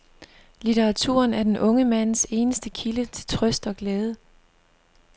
Litteraturen er den unge mands eneste kilde til trøst og glæde.